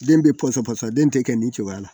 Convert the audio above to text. Den bɛ pɔsɔn pasaa den tɛ kɛ nin cogoya la